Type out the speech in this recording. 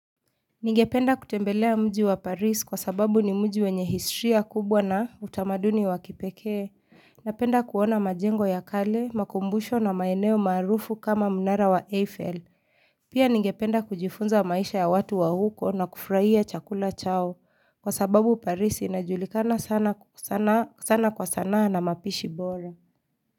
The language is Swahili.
Ningependa kutembelea mji wa paris kwa sababu ni mji wenye historia kubwa na utamaduni wakipekee, napenda kuona majengo ya kale, makumbusho na maeneo maarufu kama mnara wa Eiffel. Pia ningependa kujifunza maisha ya watu wa huko na kufurahia chakula chao kwa sababu paris inajulikana sana sana kwa sanaa na mapishi bora.